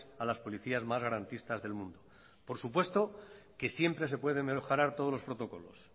a las policías más garantistas del mundo por supuesto que siempre se puede mejorar todos los protocolos